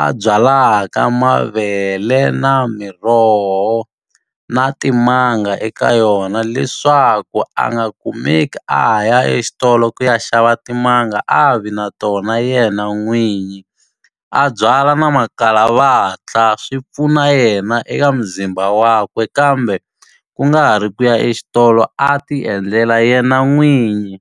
a byalaka mavele, na miroho, na timanga eka yona. Leswaku a nga kumeki a ha ya exitolo ku ya xava timanga, a vi na tona yena n'winyi. A byala na makalavatla, swi pfuna yena eka mzimba wakwe. Kambe ku nga ha ri ku ya exitolo a ti endlela yena n'winyi.